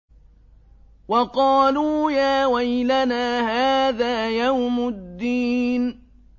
وَقَالُوا يَا وَيْلَنَا هَٰذَا يَوْمُ الدِّينِ